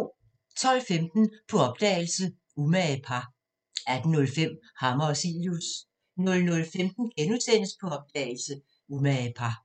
12:15: På opdagelse – Umage par 18:05: Hammer og Cilius 00:15: På opdagelse – Umage par *